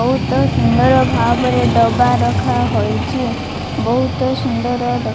ବହୁତ ସୁନ୍ଦର ଭାବରେ ଡବା ରଖାହୋଇଛି ବହୁତ ସୁନ୍ଦର --